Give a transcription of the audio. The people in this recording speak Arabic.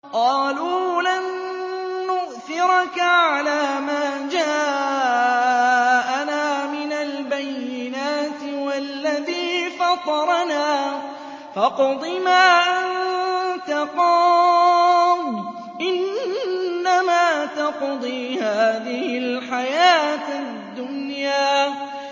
قَالُوا لَن نُّؤْثِرَكَ عَلَىٰ مَا جَاءَنَا مِنَ الْبَيِّنَاتِ وَالَّذِي فَطَرَنَا ۖ فَاقْضِ مَا أَنتَ قَاضٍ ۖ إِنَّمَا تَقْضِي هَٰذِهِ الْحَيَاةَ الدُّنْيَا